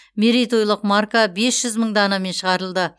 мерейтойлық марка бес жүз мың данамен шығарылды